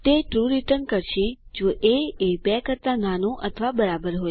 તે true return કરશે જો એ એ બી કરતા નાનું અથવા બરાબર હોય